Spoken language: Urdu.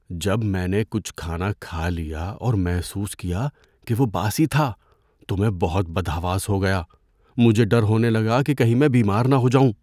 جب میں نے کچھ کھانا کھا لیا اور محسوس کیا کہ وہ باسی تھا تو میں بہت بدحواس ہو گیا۔ مجھے ڈر ہونے لگا کہ کہیں میں بیمار نہ ہو جاؤں۔